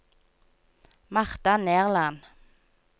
Martha Nerland